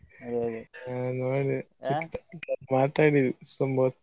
ಮಾತಾಡಿದ ತುಂಬ ಹೊತ್ತು.